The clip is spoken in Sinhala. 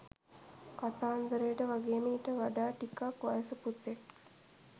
කතන්දරට වගේම ඊට වඩා ටිකක් වයස පුතෙක්.